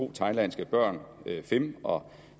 to thailandske børn fimm og